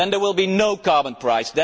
Then there will be no carbon price.